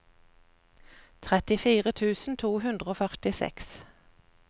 trettifire tusen to hundre og førtiseks